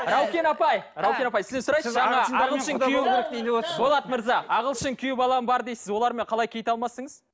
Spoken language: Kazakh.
раукен апай райкен апай сізден сұрайыншы ана ағылшын болат мырза ағылшын күйеу балам бар дейсіз олармен қалай кит алмастыңыз